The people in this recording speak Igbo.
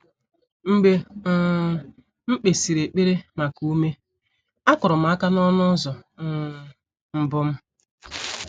Mgbe um m kpesịrị ekpere maka ume, akụrụ m aka n’ọnụ ụzọ um mbụ m.